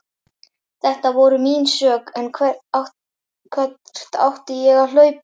Þetta voru mín mistök en hvert átti ég að hlaupa?